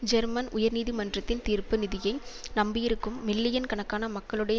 German உயர் நீதிமன்றத்தின் தீர்ப்பு நிதியை நம்பியிருக்கும் மில்லியன் கணக்கான மக்களுடைய